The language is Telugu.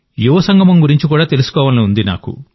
యువ సంగమం గురించి కూడా తెలుసుకోవాలని ఉంది